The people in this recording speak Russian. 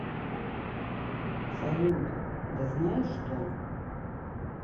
салют да знаешь что